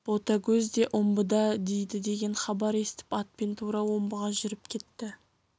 ботагөз де омбыда дейді деген хабар естіп атпен тура омбыға жүріп кетті